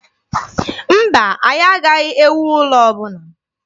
Mba, anyị anaghị ewu ụlọ ọbụla.